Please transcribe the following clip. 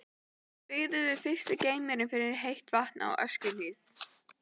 Byggður fyrsti geymirinn fyrir heitt vatn á Öskjuhlíð.